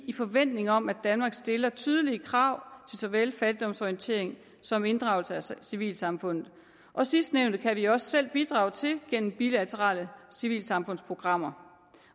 i forventning om at danmark stiller tydelige krav såvel fattigdomsorientering som inddragelse af civilsamfundet og sidstnævnte kan vi også selv bidrage til gennem bilaterale civilsamfundsprogrammer